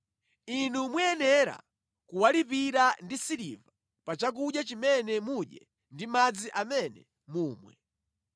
Inu muyenera kuwalipira ndi siliva pa chakudya chimene mudye ndi madzi amene mumwe.’ ”